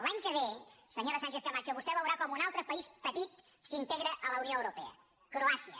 l’any que ve senyora sánchezcamacho vostè veurà com un altre país petit s’integra a la unió europea croàcia